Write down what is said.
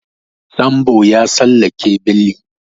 Sambo ya tsallake beli.